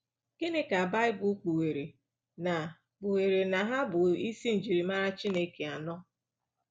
Gịnị ka baịbụl kpugheere na kpugheere na ha bụ isi njirimara Chineke anọ?